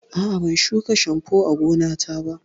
A'a, ban shuka shambo a gonata ba.